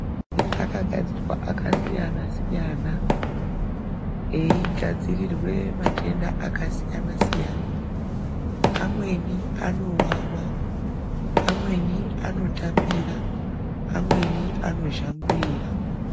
Maphirizi akagadzirwa akasiyana siyana Eigadzirirwe matenda akasiyana siyana amweni anowawa, amweni anotapira, amweni anozhangurira.